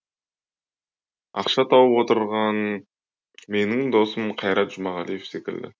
ақша тауып отырған менің досым қайрат жұмағалиев секілді